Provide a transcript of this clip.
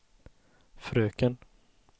fröken